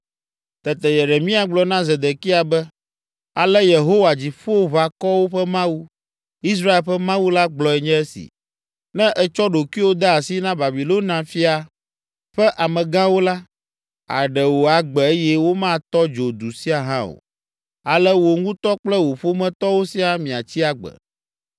Tete Yeremia gblɔ na Zedekia be, “Ale Yehowa, Dziƒoʋakɔwo ƒe Mawu, Israel ƒe Mawu la gblɔe nye esi: ‘Ne ètsɔ ɖokuiwò de asi na Babilonia fia ƒe amegãwo la, àɖe wò agbe eye womatɔ dzo du sia hã o, ale wò ŋutɔ kple wò ƒometɔwo siaa miatsi agbe.